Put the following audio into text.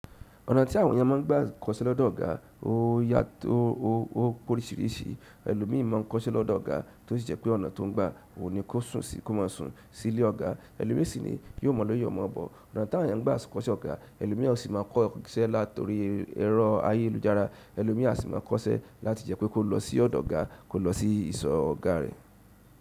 Ọ̀nà tí àwọn èèyàn máa n gbà kọ́sẹ́ lọ́dọ̀ ọ̀gá ó yàtọ̀ ó porisirisi. Ẹ̀lò míì máa n kọ́sẹ́ lọ́dọ̀ ọ̀gá tó sì jẹ́ pé ọ̀nà tó n gbà ò ní kó sùn síí kò máa sùn sílé ọ̀gá. Ẹ̀lò míì sì ní yóò mọ̀ lọ yóò mọ̀ bó. Ọ̀nà tí àwọn èèyàn n gbà ṣe kọ́sẹ́ ọ̀gá, ẹ̀lò míà sì máa kọ́sẹ́ látori ẹ̀rọ ayélujára, ẹ̀lò míi a sì máa kọ́sẹ́ láti jẹ́ pé kó lọ sí ọ̀dọ̀ ọ̀gá kó lọ sí ìsọ̀ ọ̀gá rẹ̀.